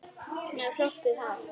Með hrokkið hár.